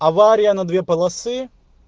авария на две полосы